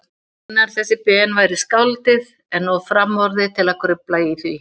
Einar þessi Ben væri skáldið, en of framorðið til að grufla í því.